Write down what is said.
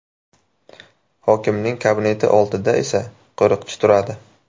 Hokimning kabineti oldida esa qo‘riqchi turadi.